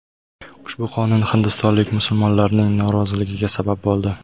Ushbu qonun hindistonlik musulmonlarning noroziligiga sabab bo‘ldi.